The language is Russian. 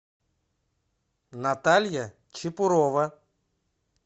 наталья чепурова